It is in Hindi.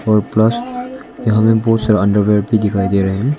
और प्लस यहां में बहुत सारा अंडरवियर भी दिखाई दे रहे हैं।